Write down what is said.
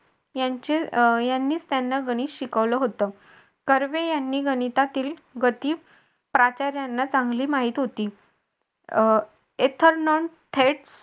यांचे अं यांनी त्यांना गणित शिकवलं होतं. कर्वे यांनी गणितातील गती प्राचार्यांना नाही चांगली माहिती होती थेट